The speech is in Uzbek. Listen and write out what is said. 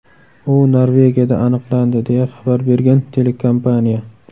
U Norvegiyada aniqlandi”, deya xabar bergan telekompaniya.